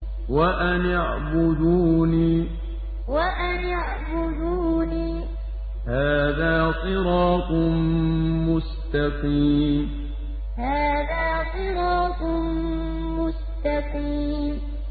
وَأَنِ اعْبُدُونِي ۚ هَٰذَا صِرَاطٌ مُّسْتَقِيمٌ وَأَنِ اعْبُدُونِي ۚ هَٰذَا صِرَاطٌ مُّسْتَقِيمٌ